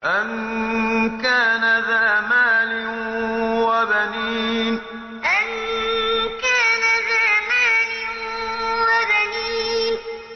أَن كَانَ ذَا مَالٍ وَبَنِينَ أَن كَانَ ذَا مَالٍ وَبَنِينَ